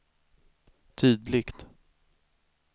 tydligt